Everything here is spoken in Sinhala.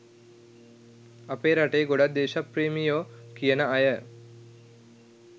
අපේ රටේ ගොඩක් දේශප්‍රේමියො කියන අය